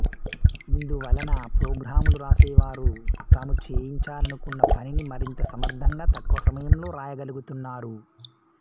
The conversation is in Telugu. ఇందు వలన ప్రోగ్రాములు వ్రాసేవారు తాము చేయించాలనుకున్న పనిని మరింత సమర్ధంగా తక్కువ సమయంలో రాయగలుగుతున్నారు